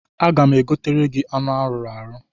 Aga m egotere gị anụ arụrụ arụ.